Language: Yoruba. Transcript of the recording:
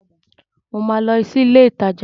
Mo ma lọ sí ilé ìtajà